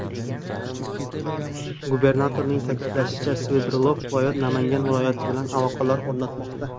Gubernatorning ta’kidlashicha, Sverdlov viloyati Namangan viloyati bilan aloqalar o‘rnatmoqda.